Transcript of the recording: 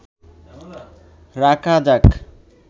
রাখা যাক